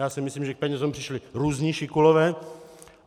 Já si myslím, že k penězům přišli různí šikulové.